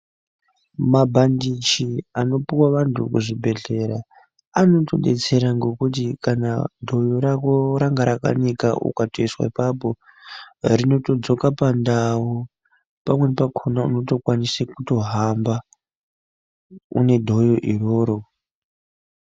Mabhandiji anopuwa vantu muzvibhedhlera anotodetsera nekuti kana dhoyo rako ranga rakanika ukatoiswa ipapo rinodzoka pandau pamweni pakona unokwanisa kutohamba une dhoyo iroro.